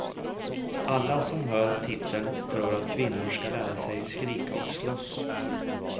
Alla som hör titeln tror att kvinnor ska lära sig skrika och slåss.